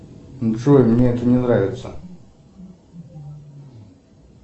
джой мне это не нравится